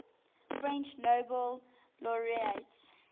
french nobel laureates